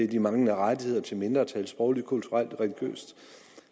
de manglende rettigheder til mindretal sprogligt kulturelt og religiøst